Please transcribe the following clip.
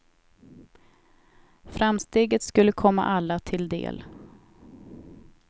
Framsteget skulle komma alla till del.